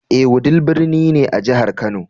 Ee, Wudil birni ne a jihar Kano.